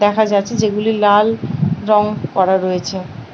দেখা যাচ্ছে যেগুলি লাল রঙ করা রয়েছে।